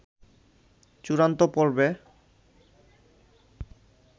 চূড়ান্ত পর্বে